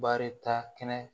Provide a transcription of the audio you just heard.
Baarita kɛnɛ